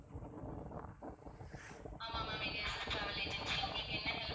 ஆமா ma'am இது S. S. Travel agency. உங்களுக்கு என்ன help